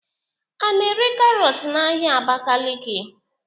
A na-ere karọt n'ahia Abakaliki?